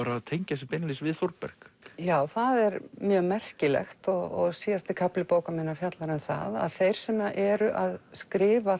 tengja sig beinlínis við Þórberg já það er mjög merkilegt og síðasti kafli bókar minnar fjallar um það að þeir sem eru að skrifa